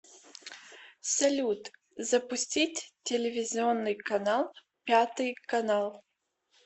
салют запустить телевизионный канал пятый канал